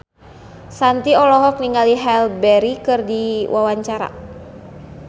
Shanti olohok ningali Halle Berry keur diwawancara